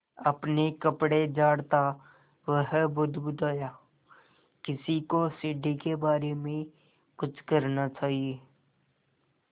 अपने कपड़े झाड़ता वह बुदबुदाया किसी को सीढ़ी के बारे में कुछ करना चाहिए